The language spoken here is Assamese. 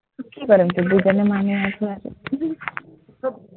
তো কি কৰিম, দুজনী মানুহ আছো আৰু